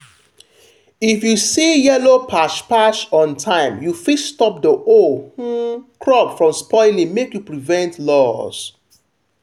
if you see yellow patch patch on time you fit stop the whole um crop from spoiling make you prevent loss.